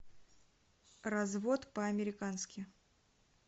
развод по американски